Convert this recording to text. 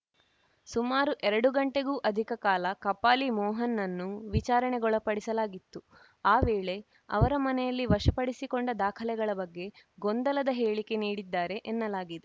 ಸುಮಾರು ಎರಡು ಗಂಟೆಗೂ ಅಧಿಕ ಕಾಲ ಕಪಾಲಿ ಮೋಹನ್‌ನನ್ನು ವಿಚಾರಣೆಗೊಳಪಡಿಸಲಾಗಿತ್ತು ಆ ವೇಳೆ ಅವರ ಮನೆಯಲ್ಲಿ ವಶಪಡಿಸಿಕೊಂಡ ದಾಖಲೆಗಳ ಬಗ್ಗೆ ಗೊಂದಲದ ಹೇಳಿಕೆ ನೀಡಿದ್ದಾರೆ ಎನ್ನಲಾಗಿದೆ